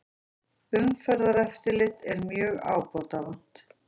Umferðareftirlit er mjög ábótavant